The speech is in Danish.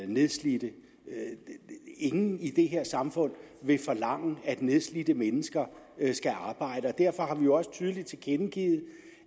nedslidte ingen i det her samfund vil forlange at nedslidte mennesker skal arbejde og derfor har vi jo også tydeligt tilkendegivet